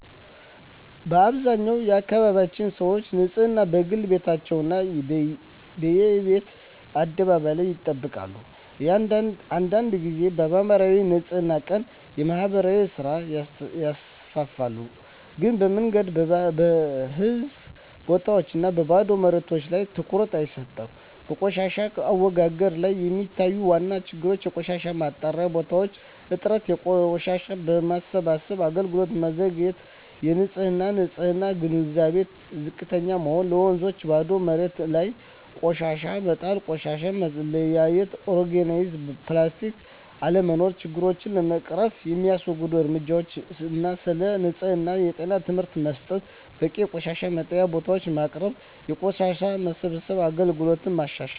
በአብዛኛው አካባቢዎች ሰዎች ንፅህናን፦ በግል ቤታቸው እና በየቤት አደባባይ ላይ ይጠብቃሉ አንዳንድ ጊዜ በማኅበራዊ የንፅህና ቀን (የማህበር ሥራ) ይሳተፋሉ ግን በመንገድ፣ በህዝብ ቦታዎች እና በባዶ መሬቶች ላይ ትኩረት አይሰጥም በቆሻሻ አወጋገድ ላይ የሚታዩ ዋና ችግሮች የቆሻሻ መጣያ ቦታዎች እጥረት የቆሻሻ መሰብሰብ አገልግሎት መዘግየት የህዝብ ንፅህና ግንዛቤ ዝቅተኛ መሆን በወንዞችና ባዶ መሬቶች ላይ ቆሻሻ መጣል ቆሻሻ መለያየት (ኦርጋኒክ/ፕላስቲክ) አለመኖር ችግሮቹን ለመቅረፍ የሚወሰዱ እርምጃዎች ህዝብን ስለ ንፅህና እና ጤና ትምህርት መስጠት በቂ የቆሻሻ መጣያ ቦታዎች ማቅረብ የቆሻሻ መሰብሰብ አገልግሎትን ማሻሻል